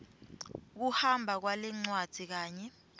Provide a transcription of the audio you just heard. kuhamba kwalencwadzi kanye